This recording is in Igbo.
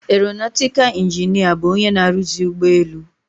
Eronatịkal ịnginịa bụ onye na-aruzi ụgbọelu.